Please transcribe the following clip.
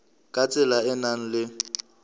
ka tsela e nang le